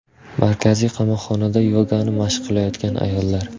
Markaziy qamoqxonada yogani mashq qilayotgan ayollar.